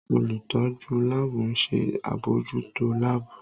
Olutọju laabu n ṣe abojuto laabu.